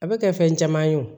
A bɛ kɛ fɛn caman ye o